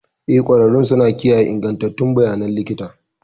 Eh, ƙwararrun suna kiyaye ingantattun bayanan likita